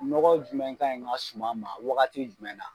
Nɔgɔ jumɛn ka in n ka suma ma wagati jumɛn na ?